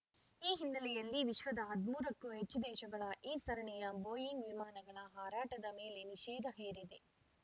ಈ ಹಿನ್ನೆಲೆಯಲ್ಲಿ ವಿಶ್ವದ ಹದಿಮೂರಕ್ಕೂ ಹೆಚ್ಚು ದೇಶಗಳ ಈ ಸರಣಿಯ ಬೋಯಿಂಗ್ ವಿಮಾನಗಳ ಹಾರಾಟದ ಮೇಲೆ ನಿಷೇಧ ಹೇರಿದೆ